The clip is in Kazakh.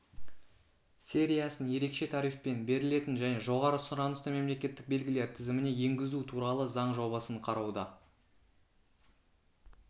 сериясын ерекше тарифпен берілетін және жоғары сұранысты мемлекеттік белгілер тізіміне енгізу туралы заң жобасын қарауда